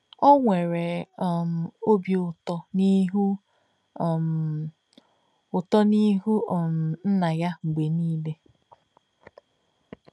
O nwere um obi ụtọ n'ihu um ụtọ n'ihu um Nna ya mgbe niile.